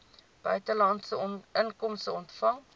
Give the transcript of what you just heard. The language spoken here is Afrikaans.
buitelandse inkomste ontvang